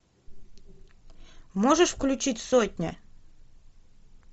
можешь включить сотня